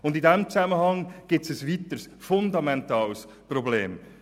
Und in diesem Zusammenhang besteht ein weiteres fundamentales Problem: